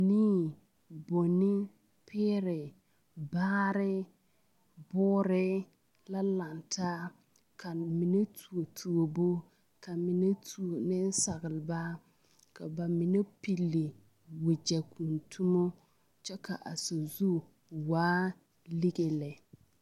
Nii bonni peere baare boore la laŋ taa ka mine tuo tuobu ka mine tuo nensalba ka ba mine pilli wagyɛkuntumo kyɛ ka a sazu waa lige lɛ.